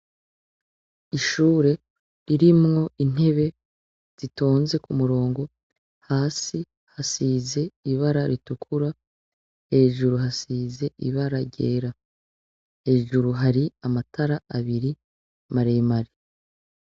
Ishure ririmwo intebe zitonze kumurongo, hasi hasize ibara ritukura, hejuru hasize ibara ryera , hejuru hari amatara abiri, maremare.